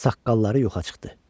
Saqqalları yoxa çıxdı.